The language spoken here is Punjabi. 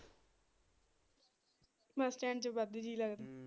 ਬੱਸ ਸਟੈਂਡ ਚ ਵਾਧੂ ਜੀਅ ਲੱਗਦਾ।